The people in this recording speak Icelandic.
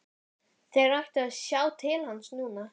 Ákvæðinu er ætlað að tryggja vissa minnihlutavernd.